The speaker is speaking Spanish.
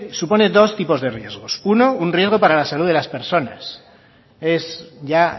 supone dos tipos de riesgos uno un riesgo para la salud de las personas es ya